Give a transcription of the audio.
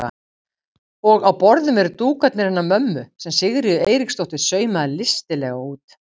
Og á borðum eru dúkarnir hennar mömmu sem Sigríður Eiríksdóttir saumaði listilega út.